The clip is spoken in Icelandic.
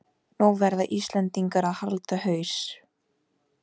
Nú verða Íslendingar að halda haus